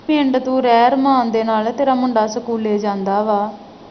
ਪਿੰਡ ਤੂੰ ਰਹਿ ਰੀ ਆ ਅਰਮਾਨ ਦੇ ਨਾਲ ਸਕੂਲੇ ਜਾਂਦਾ ਵਾ